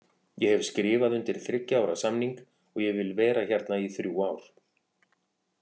Ég hef skrifað undir þriggja ára samning og ég vil vera hérna í þrjú ár.